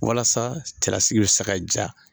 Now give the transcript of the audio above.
Walasa cɛlasigi bɛ se ma jaa.